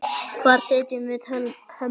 Hvar setjum við hömlur?